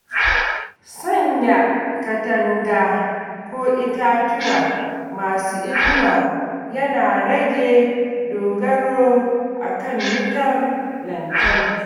Sanya katanga ko itatuwa masu inuwa yana rage dogaro a kan wutar lantarki.